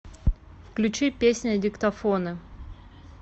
включи песня диктофоны